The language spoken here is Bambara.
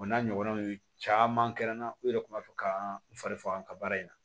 O n'a ɲɔgɔnnaw caman kɛra n na u yɛrɛ kun b'a fɔ ka n fari faga nga baara in na